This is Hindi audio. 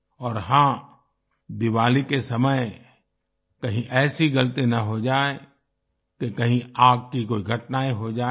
और हाँ दिवाली के समय कहीं ऐसी गलती न हो जाये कि कहीं आग की कोई घटनाएं हो जाए